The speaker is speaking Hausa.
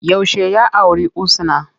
Yaushe ya auri Husna?